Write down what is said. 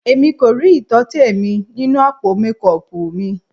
Èmi kò rí ìtọ́tẹ̀ mi nínú àpò mékọọpù mi.